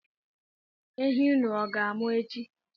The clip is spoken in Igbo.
Ehi unu ọ ga-amụ echi?